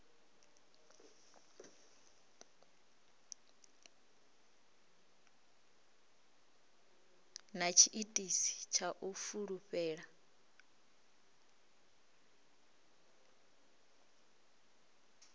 na tshiitisi tsha u fulufhela